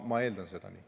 Ma eeldan seda.